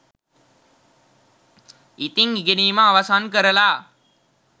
ඉතින් ඉගෙනීම අවසන්කරලා